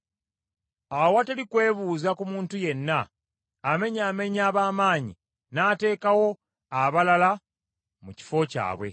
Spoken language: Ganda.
Awatali kwebuuza ku muntu yenna, amenyaamenya ab’amaanyi n’ateekawo abalala mu kifo kyabwe.